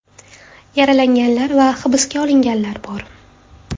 Yaralanganlar va hibsga olinganlar bor .